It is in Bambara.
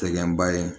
Cɛgɛn ba ye